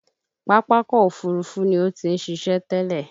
Pápákọ̀ Òfurufú ni ó ti ń ṣiṣẹ́ tẹ́lẹ̀